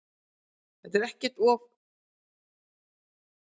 Pakistönskum þingmönnum vísað frá störfum